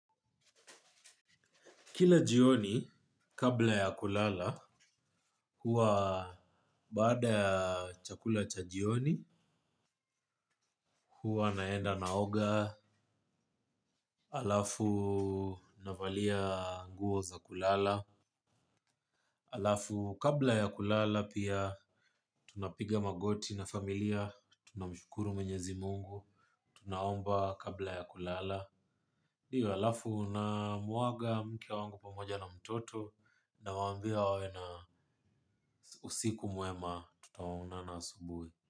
Kila jioni, kabla ya kulala, huwa baada ya chakula cha jioni, huwa naenda naoga, halafu navalia nguo za kulala, halafu kabla ya kulala pia tunapiga magoti na familia, tunamshukuru mwenyezi mungu, tunaomba kabla ya kulala. Ndiyo halafu namuaga mke wangu pamoja na mtoto nawaawambia wawe na usiku mwema tutaonana asubuhi.